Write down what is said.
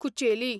Kucheli